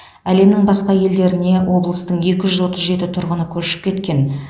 әлемнің басқа елдеріне облыстың екі жүз отыз жеті тұрғыны көшіп кеткен